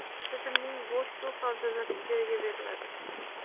Tizimning bo‘sh suv havzalari ijaraga beriladi.